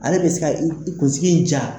Ale be se ka i kunsiki in ja